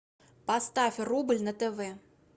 поставь рубль на тв